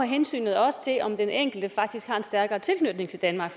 hensynet også til om den enkelte faktisk har en stærkere tilknytning til danmark